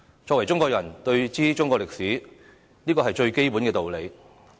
身為中國人，當知中國歷史，這是最基本的道理。